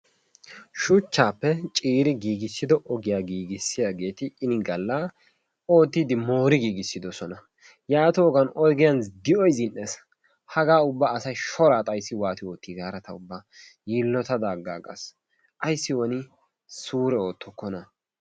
Shuchchaappe ciiri giigissido ogiya giigissiyaget inni galla oottiidi moori giigissoosona. yaatoggan ogiyan di'oy zi'nees. Hagaa ubba shoraa asay xayssidi waati gaada ta ubba yiilottada aggagas, ayssi woni suure oottokkona?